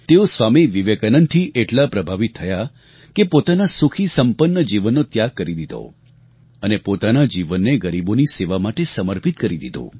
તેઓ સ્વામી વિવેકાનંદથી એટલા પ્રભાવિત થયા કે પોતાના સુખી સંપન્ન જીવનનો ત્યાગ કરી દીધો અને પોતાના જીવનને ગરીબોની સેવા માટે સમર્પિત કરી દીધું